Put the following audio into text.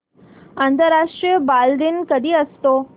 आंतरराष्ट्रीय बालदिन कधी असतो